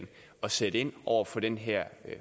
sætte ind over for den her